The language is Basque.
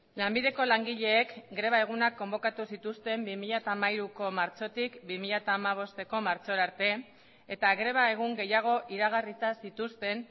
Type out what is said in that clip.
lanbideko langileek greba egunak konbokatu zituzten bi mila hamairuko martxotik bi mila hamabosteko martxora arte eta greba egun gehiago iragarrita zituzten